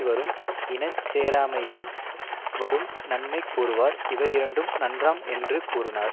வரும் இன சேராமையான் வரும் நன்மை கூறுவார் இவையிரண்டும் நன்றாம் என்று கூறுனார்